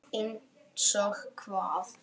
Einsog hvað?